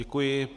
Děkuji.